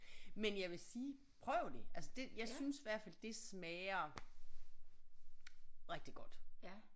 Men jeg vil sige prøv det altså det jeg synes i hvert fald det smager rigtig godt